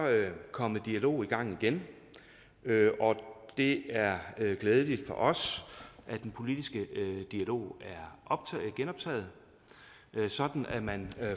kommet en dialog i gang igen og det er glædeligt for os at den politiske dialog er genoptaget sådan at man